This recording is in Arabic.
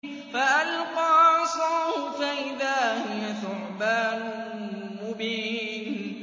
فَأَلْقَىٰ عَصَاهُ فَإِذَا هِيَ ثُعْبَانٌ مُّبِينٌ